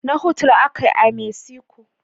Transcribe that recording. Nahuatl ak yi a Mexico